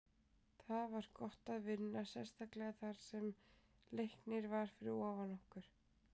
Það var gott að vinna, sérstaklega þar sem Leiknir var fyrir ofan okkur.